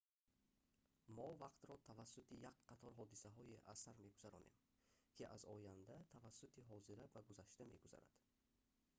мо вақтро тавассути як қатор ҳодисаҳое аз сар мегузаронем ки аз оянда тавассути ҳозира ба гузашта мегузаранд